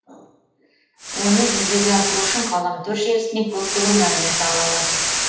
оны жүзеге асыру үшін ғаламтор желісінен көптеген мәлімет ала аласыз